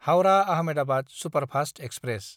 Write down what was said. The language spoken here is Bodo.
हाउरा–आहमेदाबाद सुपारफास्त एक्सप्रेस